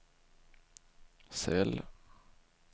cell